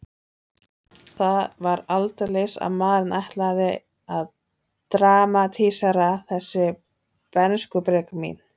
Það var aldeilis að maðurinn ætlaði að dramatísera þessi bernskubrek mín.